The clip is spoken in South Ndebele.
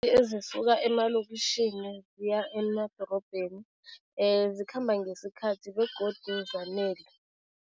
Ezisuka emalokitjhini ziya emadorobheni zikhamba ngesikhathi begodu zanele.